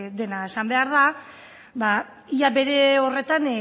dena esan behar da ia bere horretan